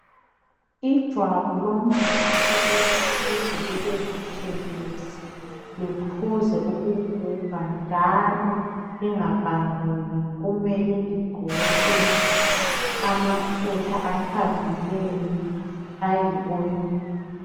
Ijwabu lomuntu ukuthi lize libe butshelezi liphuze ukuguga njalo lingapanguki kumele ligcotshwe amafutha athambileyo ayi oil.